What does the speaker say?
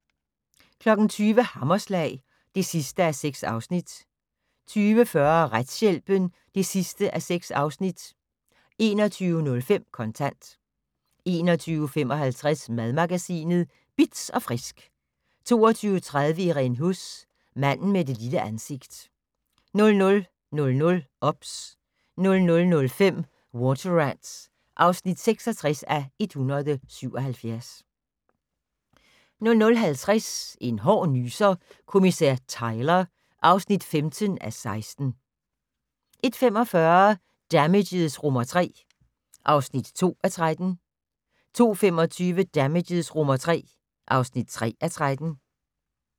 20:00: Hammerslag (6:6) 20:40: Retshjælpen (6:6) 21:05: Kontant 21:55: Madmagasinet Bitz & Frisk 22:30: Irene Huss: Manden med det lille ansigt 00:00: OBS 00:05: Water Rats (66:177) 00:50: En hård nyser: Kommissær Tyler (15:16) 01:45: Damages III (2:13) 02:25: Damages III (3:13)